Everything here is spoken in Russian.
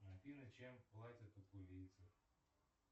афина чем платят